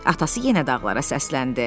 Atası yenə dağlara səsləndi.